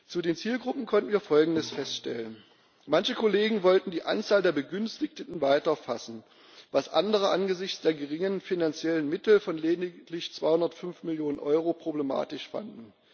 Zu den Zielgruppen konnten wir Folgendes feststellen Manche Kollegen wollten die Anzahl der Begünstigten weiter fassen, was andere angesichts der geringen finanziellen Mittel von lediglich 205 Millionen Euro problematisch fanden.